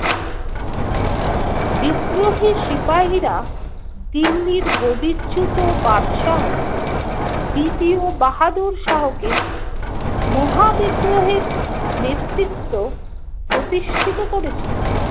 বিদ্রোহী সিপাহীরা দিল্লির গদিচ্যুত বাদশাহ দ্বিতীয় বাহাদুর শাহ কে মহা বিদ্রোহের নেতৃত্ব প্রতিষ্ঠিত করেছিল।